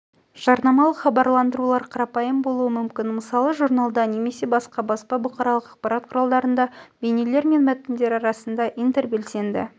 жарнамалық хабарландырулар қарапайым болуы мүмкін мысалы журналда немесе басқа баспа бұқаралық ақпарат құралдарында бейнелер мен мәтіндер арасында интербелсенді